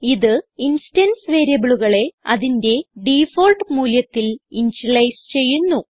ഇത് ഇൻസ്റ്റൻസ് വേരിയബിളുകളെ അതിന്റെ ഡിഫാൾട്ട് മൂല്യത്തിൽ ഇനിഷ്യലൈസ് ചെയ്യുന്നു